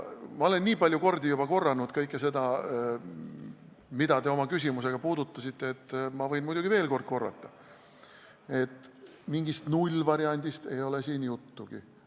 Ma olen juba nii palju kordi korranud kõike seda, mida te oma küsimusega puudutasite, ja ma võin muidugi veel korrata, et mingist nullvariandist ei ole siin juttugi.